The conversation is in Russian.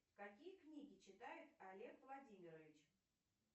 какие книги читает олег владимирович